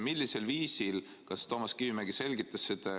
Millisel viisil ja kas Toomas Kivimägi selgitas seda?